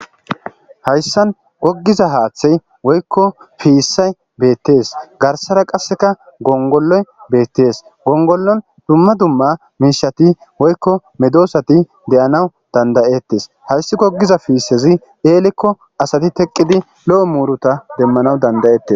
Haysan gigiza hathi woyko pisay betes garsara qaseka gongoloy betes gongoloy duma duma mishati woyko medosati de'anaw danda'etes haysi gigiza pisazi elikko asati teqidi lo'o muruta demanaw danda'etes.